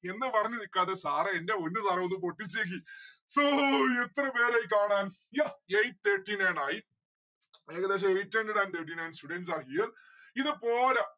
എന്ന് പറഞ്‌ നിക്കാതെ sir ഏ ന്റെ പൊന്നു sir ഏ ഒന്ന് പൊട്ടിച്ചെക്ക്. so എത്ര പേരായി കാണാൻ yeah. eight thirty nine ആയി. ഏകദേശം eight hundred and thirty nine students are here ഇത് പോര